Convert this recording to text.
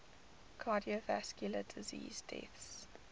cardiovascular disease deaths